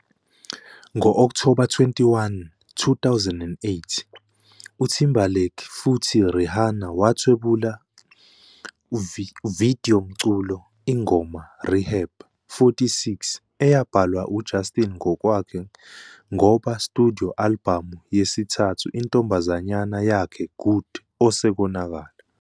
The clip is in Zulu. Ngo-October 21, 2008, Timberlake futhi Rihanna wathwebula video umculo ingoma "Rehab", 46 eyabhalwa Justin ngokwakhe ngoba studio albhamu yesithathu intombazanyana yakhe Good osekonakala.